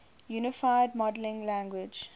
unified modeling language